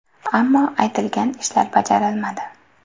Ammo aytilgan ishlar bajarilmadi”.